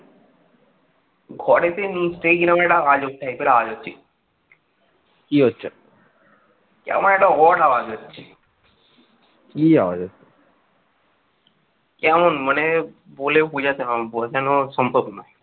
কেমন মানে বলে বুঝাতে বোঝানোর সম্ভব নয়।